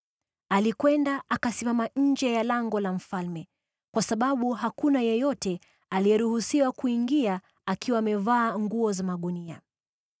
Alikwenda akasimama nje ya lango la mfalme, kwa sababu hakuna yeyote aliyeruhusiwa kuingia akiwa amevaa nguo za magunia.